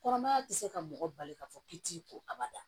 Kɔnɔmaya tɛ se ka mɔgɔ bali k'a fɔ k'i t'i ko abada